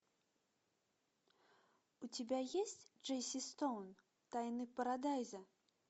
у тебя есть джесси стоун тайны парадайза